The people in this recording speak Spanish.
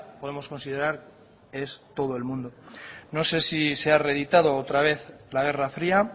podemos considerar es todo el mundo no sé si se ha reeditado otra vez la guerra fría